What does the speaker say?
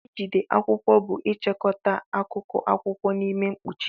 Ijide akwụkwọ bụ ịchịkọta akụkụ akwụkwọ n'ime mkpuchi.